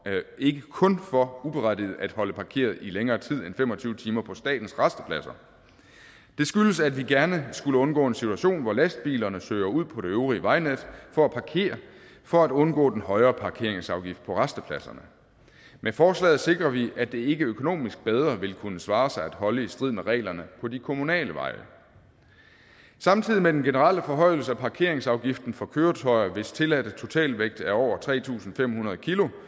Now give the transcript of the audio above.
ikke kun for uberettiget at holde parkeret i længere tid end fem og tyve timer på statens rastepladser det skyldes at vi gerne skulle undgå en situation hvor lastbilerne søger ud på det øvrige vejnet for at parkere for at undgå den højere parkeringsafgift på rastepladserne med forslaget sikrer vi at det ikke økonomisk bedre vil kunne svare sig at holde i strid med reglerne på de kommunale veje samtidig med den generelle forhøjelse af parkeringsafgiften for køretøjer hvis tilladte totalvægt er over tre tusind fem hundrede